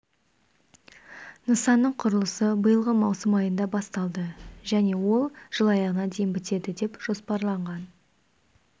нысанның құрылысы биылғы маусым айында басталды және ол жыл аяғына дейін бітеді деп жоспарланған